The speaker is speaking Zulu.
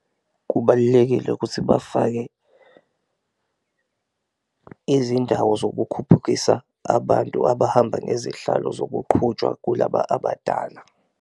Kubalulekile ukuthi bafake izindawo zokukhuphukisa abantu abahamba ngezihlalo zokuqhutshwa kulaba abadala.